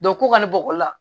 ko ka na bɔ olu la